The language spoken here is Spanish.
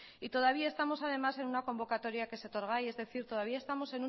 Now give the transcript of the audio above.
y todavía estamos además en una convocatoria que es etorgai es decir todavía estamos